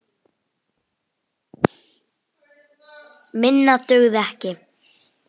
Minna dugði ekki til.